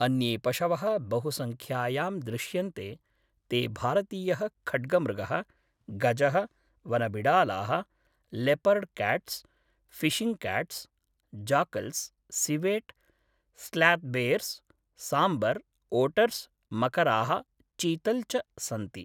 अन्ये पशवः बहुसंख्यायां दृश्यन्ते ते भारतीयः खड्गमृगः, गजः, वनबिडालाः, leopard cats, fishing cats, jackals, civet, sloth bears, sambar, otters, मकराः, चीतल् च सन्ति।